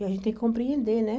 E a gente tem que compreender, né?